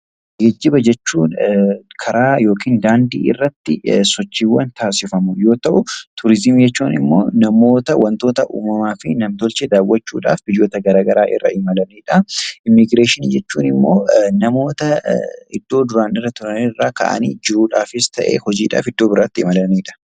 Geejjiba jechuun karaa irratti sochii taasifamu yoo ta'u, turizimii jechuun immoo namoota wantoota uumamaa fi nam-tolchee daawwachuudhaaf biyyoota garaagaraa irra imalanidha. Immiigireeshinii jechuun immoo namoota iddoo dura turan irraa ka'anii jiruufis ta'ee hojiidhaaf iddoo biraa deemanidha.